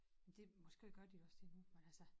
Det måske gør de også det nu men altså